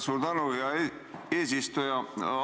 Suur tänu, hea eesistuja!